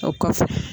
O kɔfɛ